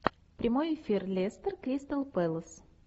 прямой эфир лестер кристал пэлас